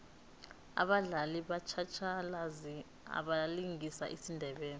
abadlali batjhatjhalazi abalingisa isindebele